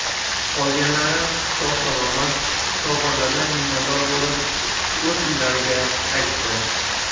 Qolganlari sog‘ salomat shifokorlardan minnatdor bo‘lib o‘z uylariga qaytdi.